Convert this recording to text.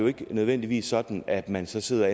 ikke nødvendigvis sådan at man så sidder